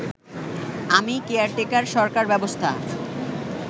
আমি কেয়ারটেকার সরকার ব্যবস্থা